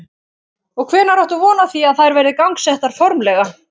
Og hvenær áttu von á því að þær verði gangsettar formlega?